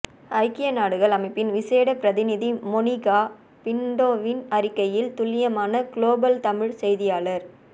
ஐக்கிய நாடுகள் அமைப்பின் விசேட பிரதிநிதி மொனிகா பின்டோவின் அறிக்கையில் துல்லியமான குளோபல் தமிழ்ச் செய்தியாளர்